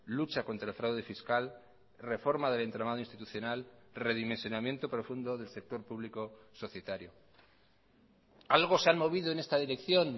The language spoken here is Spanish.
lucha contra el fraude fiscal reforma del entramado institucional redimensionamiento profundo del sector público societario algo se han movido en esta dirección